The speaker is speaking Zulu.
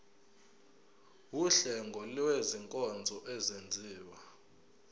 wuhlengo lwezinkonzo ezenziwa